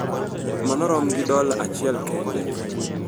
Mano rom gi dola achiel kende.